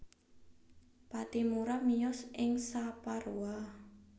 Pattimura miyos ing Saparua